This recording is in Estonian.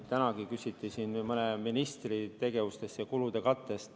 Tänagi küsiti siin mõne ministri tegevuse ja kulude katte kohta.